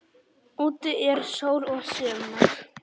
Úti er sól og sumar.